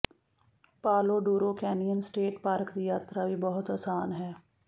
ਪਾਲੋ Duro canyon state park ਦੀ ਯਾਤਰਾ ਵੀ ਬਹੁਤ ਆਸਾਨ ਹੈ